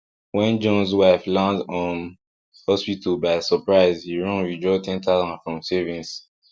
when johns wife land um hospital by surprise he run withdraw ten thousand from savings